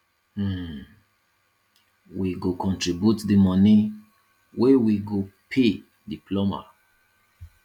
um we go contribute di moni wey we go pay di plumber